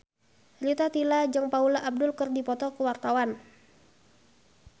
Rita Tila jeung Paula Abdul keur dipoto ku wartawan